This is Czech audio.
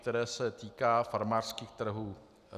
Návrh se týká farmářských trhů.